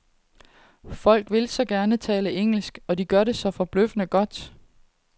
Folk vil så gerne tale engelsk, og de gør det så forbløffende godt.